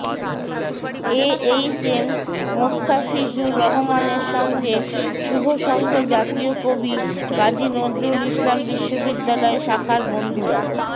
এ H M Mostafizur রহমানের সঙ্গে শুভসংঘ জাতীয় কবি কাজী নজরুল ইসলাম বিশ্ববিদ্যালয় শাখার বন্ধুরা